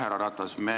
Härra Ratas!